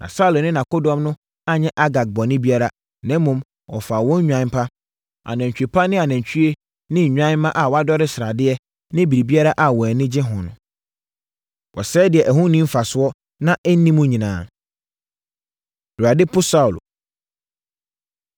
Na Saulo ne nʼakodɔm no anyɛ Agag bɔne biara, na mmom wɔfaa wɔn nnwan pa, anantwie pa ne anantwie ne nnwan mma a wɔadodɔre sradeɛ ne biribiara a wɔn ani gye ho. Wɔsɛee deɛ ɛho nni wɔn mfasoɔ na ɛnni mu nyinaa. Awurade Po Saulo